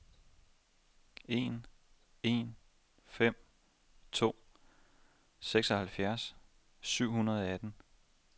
en en fem to seksoghalvfjerds syv hundrede og atten